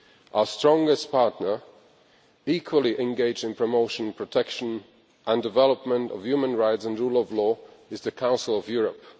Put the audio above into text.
Our strongest partner, equally engaged in the promotion, protection and development of human rights and the rule of law, is the Council of Europe.